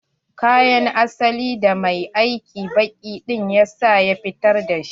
Kayan asalin da mai aikin banki ɗin ya sa ya fitar da shi.